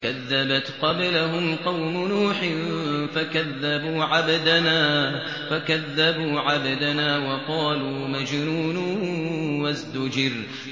۞ كَذَّبَتْ قَبْلَهُمْ قَوْمُ نُوحٍ فَكَذَّبُوا عَبْدَنَا وَقَالُوا مَجْنُونٌ وَازْدُجِرَ